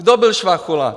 Kdo byl Švachula?